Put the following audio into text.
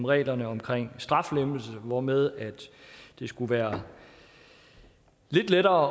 reglerne om straflempelse hvormed det skulle være lidt lettere